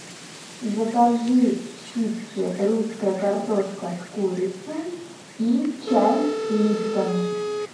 закажи чипсы русская картошка с курицей и чай липтон